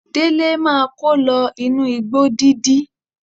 Délé máa kó lọ inú igbó dídí.